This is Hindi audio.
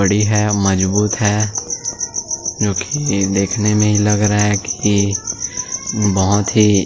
बड़ी है मजबूत है जो की देखने में ही लग रहा है कि बहुत ही --